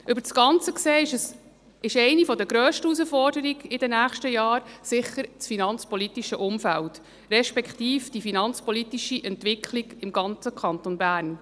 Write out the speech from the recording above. Über das Ganze gesehen besteht eine der grössten Herausforderungen in den nächsten Jahren sicher im finanzpolitischen Umfeld, respektive in der finanzpolitischen Entwicklung im ganzen Kanton Bern.